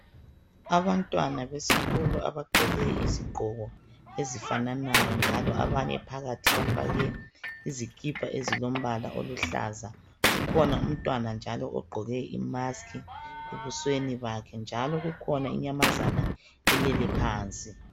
Abantwana besikolo abagqoke izigqoko ezifananayo njalo abanye phakathi bafake izikipa ezilombala oluhlaza. Kukhona umntwana njalo ogqoke imask ebusweni bakhe, njalo kukhona inyamazana elele phansi.